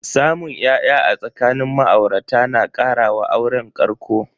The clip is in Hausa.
Samun ya'ya a tsakanin ma'aurata na kara wa auren ƙarƙo.